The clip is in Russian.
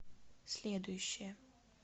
следующая